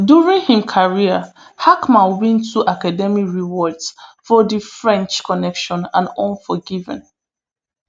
during im career hackman win two academy rewards for the french connection and unforgiven